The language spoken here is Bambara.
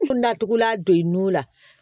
N kun datugulan don i nun la